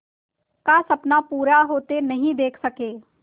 का सपना पूरा होते नहीं देख सके